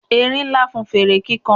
erin Nla fún fere kikan